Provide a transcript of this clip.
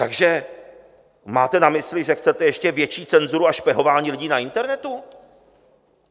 Takže máte na mysli, že chcete ještě větší cenzuru a špehování lidí na internetu?